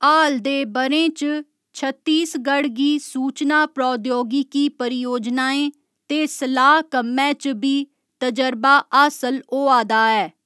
हाल दे ब'रें च, छत्तीसगढ़ गी सूचना प्रौद्योगिकी परियोजनाएं ते सलाह् कम्मै च बी तर्जबा हासल होआ दा ऐ।